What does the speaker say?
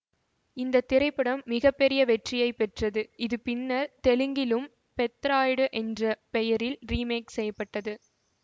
இந்த திரைப்படம் மிக பெரிய வெற்றியை பெற்றது இது பின்னர் தெலுங்கில் பெத்ராயிடு என்ற பெயரில் ரீமேக் செய்ய பட்டது